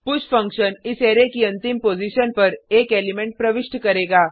push function इस array की अंतिम पॉजिशन पर एक एलिमेंट प्रविष्ट करेगा